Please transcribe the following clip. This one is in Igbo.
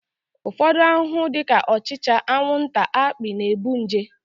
Ụfọdụ ahụhụ dị ka ọchịcha, anwụnta, akpị na-ebu nje